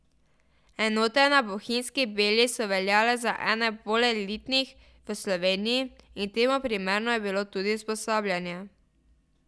Enote na Bohinjski Beli so veljale ze ene bolj elitnih v Sloveniji in temu primerno je bilo tudi usposabljanje.